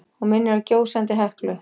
Hún minnir á gjósandi Heklu.